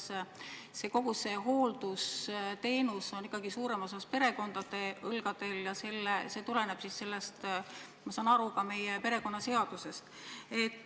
Me praegu ju tegelikult teame, et kogu see hooldusteenuse tasu on ikkagi suuremas osas perekondade õlgadel ja see tuleneb, nagu ma aru saan, ka meie perekonnaseadusest.